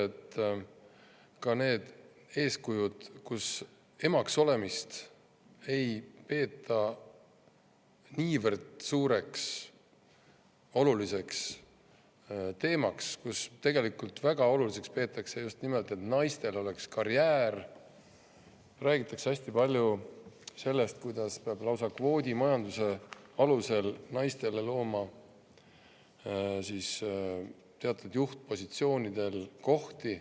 On ka sellised eeskujud, et emaks olemist ei peeta niivõrd suureks ja oluliseks teemaks, väga oluliseks peetakse just nimelt seda, et naistel oleks karjäär, ning räägitakse hästi palju sellest, kuidas peab lausa kvoodimajanduse alusel naistele looma juhtpositsioonidel teatud kohti.